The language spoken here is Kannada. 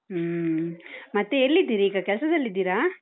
ಹ್ಮ ಮತ್ತೇ, ಎಲ್ಲಿದ್ದೀರೀಗ? ಕೆಲ್ಸದಲ್ಲಿದ್ದೀರಾ?